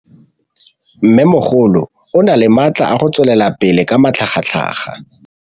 Mmêmogolo o na le matla a go tswelela pele ka matlhagatlhaga.